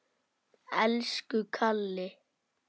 Elsku Kalli.